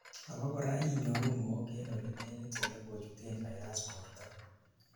abakora inyoru mook en olenegit olekochuten virus borto